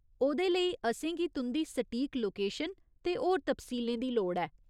ओह्‌दे लेई, असेंगी तुं'दी सटीक लोकेशन ते होर तफसीलें दी लोड़ ऐ।